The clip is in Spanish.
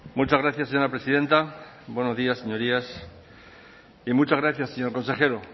muchas gracias señora presidenta buenos días señorías y muchas gracias señor consejero